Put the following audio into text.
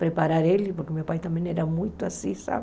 Preparar ele, porque meu pai também era muito assim, sabe?